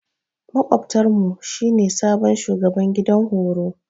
Makwabtar mu shi ne sabon shugaban gidan horo.